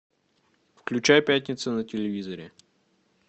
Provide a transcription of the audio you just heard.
включай пятница на телевизоре